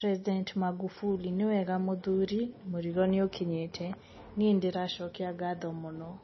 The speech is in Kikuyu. President Magufuli: niwega muthuri, murigo niukinyete, nie nindiracokia ngatho muno.